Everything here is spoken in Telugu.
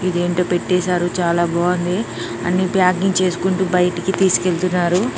ఇది ఏంటో పెట్టేసారు చాలా బాగుంది అన్ని ప్యాకింగ్ చేసుకుంటూ బయటికి తిస్కెల్తున్నారు .